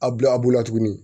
A bila a bolo la tuguni